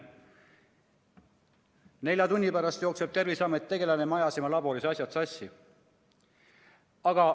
Nelja tunni pärast jookseb Terviseameti tegelane kohale: me ajasime laboris asjad sassi.